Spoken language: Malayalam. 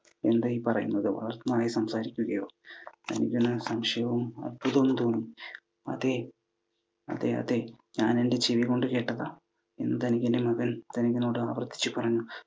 എന്താ ഈ പറയുന്നത്? വളർത്തു നായ സംസാരിക്കുകയോ? ധനികന് സംശയവും അത്ഭുതവും തോന്നി. അതേ അതേയതേ, ഞാനെൻ്റെ ചെവി കൊണ്ട് കേട്ടതാ, എന്ന് ധനികൻ്റെ മകൻ ധനികനോട് ആവർത്തിച്ചു പറഞ്ഞു.